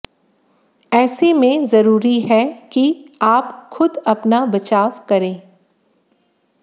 ऐसे में जरूरी हैं कि आप खुद अपना बचाव करें